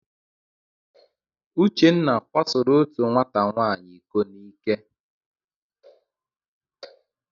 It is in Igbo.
Uchenna kwasoro otu nwata nwaanyị iko n'ike.